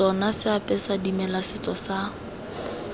tsona seapesa dimela setso sa